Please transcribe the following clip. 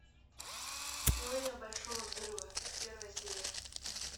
теория большого взрыва первая серия